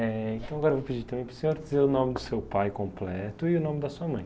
Eh, então agora eu vou pedir também para o senhor dizer o nome do seu pai completo e o nome da sua mãe.